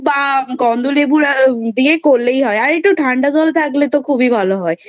বা গন্ধলেবু দিয়েই করলেই হয় আর একটু ঠান্ডা জল থাকলে তো খুব যে ভালো হয়